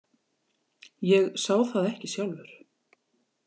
Ég sá það ekki sjálfur.